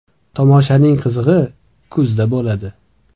Tomoshaning qizig‘i kuzda bo‘ladi.